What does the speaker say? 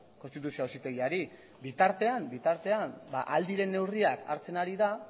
konstituzio auzitegiari bitartean bitartean ahal diren neurriak hartzen ari da